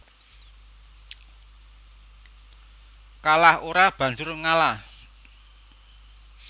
Kalah ora banjur ngalah